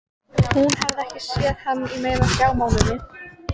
Hún hafði ekki séð hann í meira en þrjá mánuði.